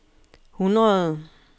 hundrede